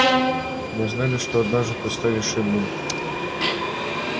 мы знали что однажды ты станешь иным